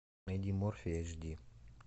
найди морфий эйч ди